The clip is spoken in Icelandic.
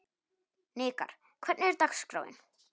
Hnikarr, hvernig er dagskráin?